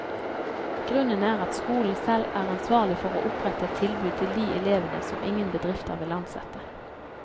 Grunnen er at skolen selv er ansvarlig for å opprette et tilbud til de elevene som ingen bedrifter vil ansette.